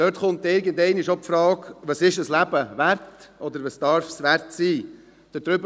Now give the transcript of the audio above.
Dort kommt irgendwann die Frage auf, was ein Leben wert ist oder was es wert sein darf.